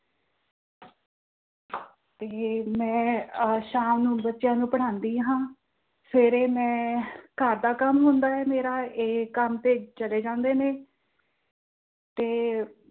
ਤੇ ਮੈਂ ਸ਼ਾਮ ਨੂੰ ਬੱਚਿਆਂ ਨੂੰ ਪੜ੍ਹਾਂਦੀ ਹਾਂ, ਸਵੇਰੇ ਮੈਂ ਅਹ ਘਰ ਦਾ ਕੰਮ ਹੁੰਦਾ ਮੇਰਾ ਤੇ ਇਹ ਕੰਮ ਤੇ ਚਲੇ ਜਾਂਦੇ ਨੇ ਤੇ